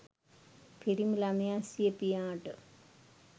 පිරිමි ළමයා සිය පියාට